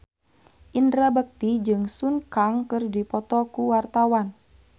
Indra Bekti jeung Sun Kang keur dipoto ku wartawan